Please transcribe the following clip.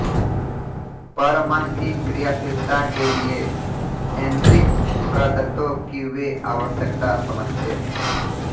पर मन की क्रियाशीलता के लिए ऐंद्रिक प्रदत्तों की वे आवश्यकता समझते थे